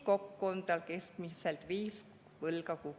Kokku on tal keskmiselt viis võlga kukil.